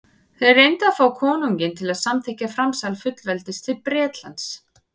þeir reyndu að fá konunginn til að samþykkja framsal fullveldis til bretlands